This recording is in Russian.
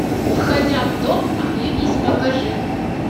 входя в дом оглянись покажи